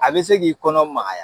A be se k'i kɔnɔ magaya